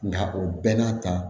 Nka o bɛɛ n'a ta